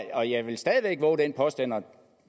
og jeg vil stadig væk vove den påstand og